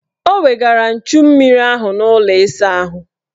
O wegara nchummiri ahụ n' ụlọ ịsaahụ.